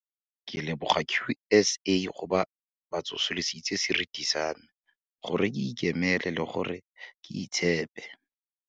"Ke leboga QSA gobo ba tsosolositse seriti sa me, gore ke ikemele le gore ke itshepe."